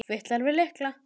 Fitlar við lykla.